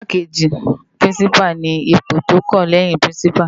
Igbákéji Pirinsipá ni ipó tó kán lèyin Pirinsipá